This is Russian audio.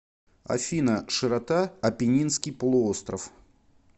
афина широта апеннинский полуостров